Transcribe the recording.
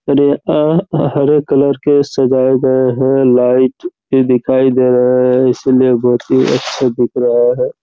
Grey और हरे colour के सजाए गए है लाइट भी दिखाई दे रहे है इसीलिए बोहोत ही अच्छे दिख रहे है।